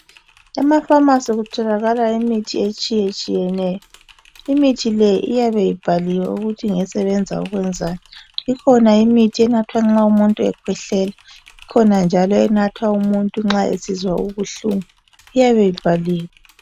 EmaFamasi kutholakala imithi etshiyetshiyeneyo imithi le iyabe ibhaliwe ukuthi ngesebenza ukwenzani. Ikhona imithi enathwa nxa umuntu ekhwehlela ikhona njalo enathwa umuntu nxa esizwa ubuhlungu iyabe ibhaliwe.